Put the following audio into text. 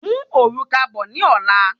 Mú òrùka bọ ní ola